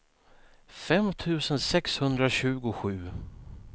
fem tusen sexhundratjugosju